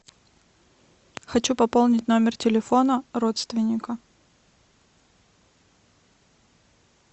хочу пополнить номер телефона родственника